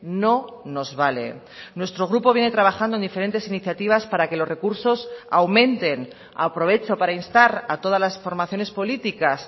no nos vale nuestro grupo viene trabajando en diferentes iniciativas para que los recursos aumenten aprovecho para instar a todas las formaciones políticas